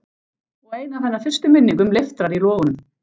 Og ein af hennar fyrstu minningum leiftrar í logunum.